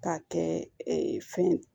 K'a kɛ fɛn ye